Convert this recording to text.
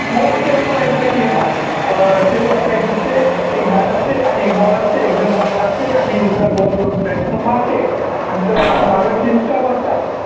मला फक्त एवढंच माहित आहे, की हे पाय अं ते बघ काहीच नसते, एक bat असते आणि एक ball असते, एकजण ball टाकते आणि दूसरा ball bat नं मारते आणि तीन stump असतात.